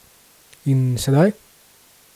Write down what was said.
In sedaj?